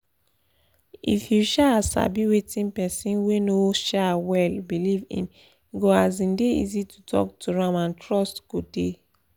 if you um sabi wetin person wey no um well believe in e go um dey easy to talk to am and trust go dey